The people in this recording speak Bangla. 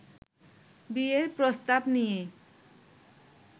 বিয়ের প্রস্তাব নিয়ে